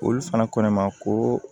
Olu fana ko ne ma ko